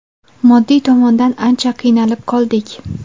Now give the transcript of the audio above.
Moddiy tomondan ancha qiynalib qoldik.